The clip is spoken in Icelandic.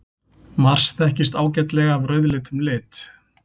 Mars þekkist ágætlega af rauðleitum lit.